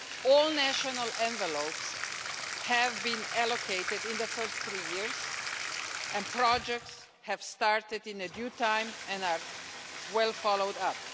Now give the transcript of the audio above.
All national envelopes have been allocated in the first three years and projects have started on time and are well followed up.